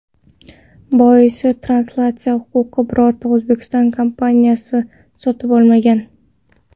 Boisi translyatsiya huquqini birorta O‘zbekiston kompaniyasi sotib olmagan.